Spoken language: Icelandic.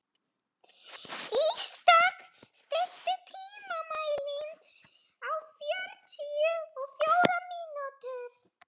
Ísdögg, stilltu tímamælinn á fjörutíu og fjórar mínútur.